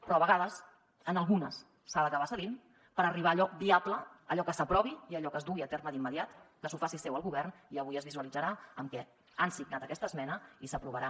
però a vegades en algunes s’ha d’acabar cedint per arribar a allò viable a allò que s’aprovi i a allò que es dugui a terme d’immediat que s’ho faci seu el govern i avui es visualitzarà amb què han signat aquesta esmena i s’aprovarà